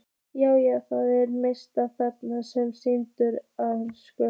Já, já, það er manneskja þarna sem skilur ensku!